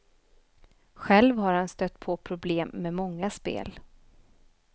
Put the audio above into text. Själv har han stött på problem med många spel.